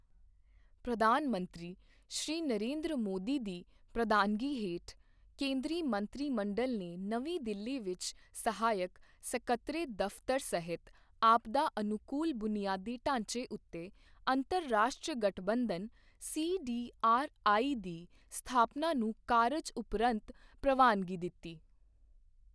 ਪ੍ਰਧਾਨ ਮੰਤਰੀ ਸ਼੍ਰੀ ਨਰਿੰਦਰ ਮੋਦੀ ਦੀ ਪ੍ਰਧਾਨਗੀ ਹੇਠ ਕੇਂਦਰੀ ਮੰਤਰੀ ਮੰਡਲ ਨੇ ਨਵੀਂ ਦਿੱਲੀ ਵਿੱਚ ਸਹਾਇਕ ਸਕੱਤਰੇਤ ਦਫ਼ਤਰ ਸਹਿਤ ਆਪਦਾ ਅਨੁਕੂਲ ਬੁਨਿਆਦੀ ਢਾਂਚੇ ਉੱਤੇ ਅੰਤਰਰਾਸ਼ਟਰੀ ਗਠਬੰਧਨ ਸੀਡੀਆਰਆਈ ਦੀ ਸਥਾਪਨਾ ਨੂੰ ਕਾਰਜ ਉਪਰੰਤ ਪ੍ਰਵਾਨਗੀ ਦੇ ਦਿੱਤੀ ਹੈ।